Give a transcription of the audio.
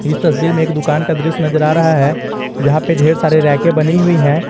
इस तस्वीर में एक दुकान का दृश्य नजर आ रहा है जहाँ पे ढेर सारे रैके बनी हुई है।